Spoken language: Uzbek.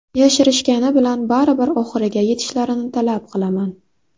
Yashirishgani bilan baribir oxiriga yetishlarini talab qilaman.